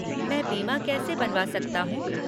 मैं बीमा कैसे बनवा सकता हूँ?